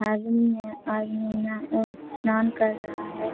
आदमी है आदमी न अअ स्नान कर रहा है।